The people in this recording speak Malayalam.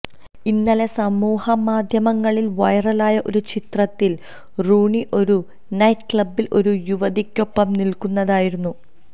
ഇന്നലെ സമൂഹമാധ്യമങ്ങളിൽ വൈറലായ ഒരു ചിത്രത്തിൽ റൂണി ഒരു നൈറ്റ്ക്ലബ്ബിൽ ഒരു യുവതിക്കൊപ്പം നിൽക്കുന്നതായിരുന്നു